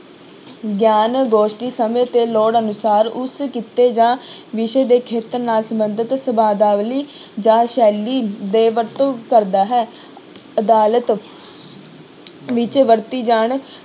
ਗਿਆਨ ਗੋਸਟੀ ਸਮੇਂ ਤੇ ਲੋੜ ਅਨੁਸਾਰ ਉਸ ਕਿੱਤੇ ਜਾਂ ਵਿਸ਼ੇ ਦੇ ਖੇਤਰ ਨਾਲ ਸੰਬੰਧਿਤ ਸ਼ਬਦਾਵਲੀ ਜਾਂ ਸ਼ੈਲੀ ਦੇ ਵਰਤੋਂ ਕਰਦਾ ਹੈ ਅਦਾਲਤ ਵਿੱਚ ਵਰਤੀ ਜਾਣ